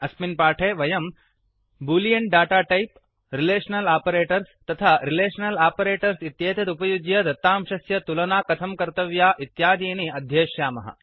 अस्मिन् पाठे वयम् boolean data type relational operators तथा रिलेषनल् आपरेटर्स् इत्येतत् उपयुज्य दत्तांशस्य तुलना कथं कर्तव्या इत्यादीनि आध्येष्यामः